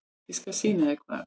Ég skal sýna þér hvar.